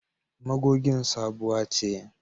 Magogin sabuwa ce.